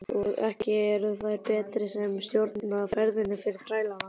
Og ekki eru þeir betri sem stjórna ferðinni fyrir þrælana.